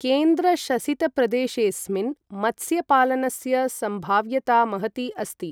केन्द्रशसितप्रदेशेस्मिन् मत्स्यपालनस्य सम्भाव्यता महती अस्ति।